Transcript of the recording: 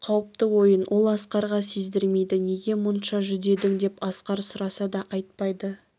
бұл қауіпті ойын ол асқарға сездірмейді неге мұнша жүдедің деп асқар сұраса да айтпайды